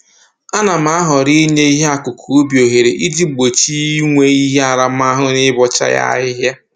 A na m ahọrọ inye ihe akụkụ ubi ohere iji gbochie inwe ihe aramahụ na ịbọcha ya ahịhịa